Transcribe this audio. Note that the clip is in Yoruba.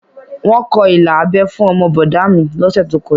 Wọ́n kọ ilà abẹ́ fún ọmọ bọ̀dá a mi lọ́sẹ̀ tó kọjá